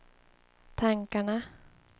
tankarna